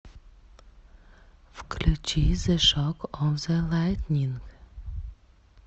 включи зе шок оф зе лайтнинг